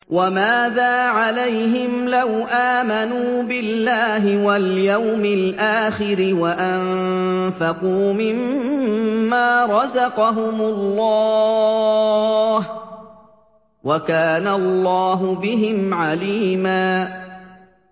وَمَاذَا عَلَيْهِمْ لَوْ آمَنُوا بِاللَّهِ وَالْيَوْمِ الْآخِرِ وَأَنفَقُوا مِمَّا رَزَقَهُمُ اللَّهُ ۚ وَكَانَ اللَّهُ بِهِمْ عَلِيمًا